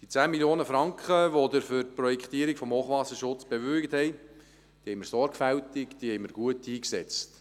Die 10 Mio. Franken, die Sie für die Projektierung des Hochwasserschutzes bewilligt haben, haben wir sorgfältig und gut eingesetzt.